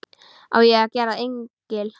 Á ég að gera engil?